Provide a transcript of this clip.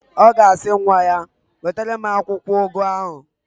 Ọ ga-asị nwa ya, "wetara m akwụkwọụgụ ahụ"!